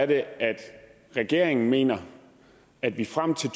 det er regeringen mener at vi frem til